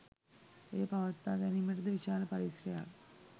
එය පවත්වා ගැනීමට ද විශාල පරිශ්‍රමයක්